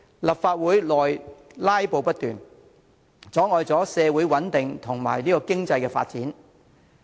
立法會內"拉布"不斷，破壞社會穩定，妨礙經濟發展。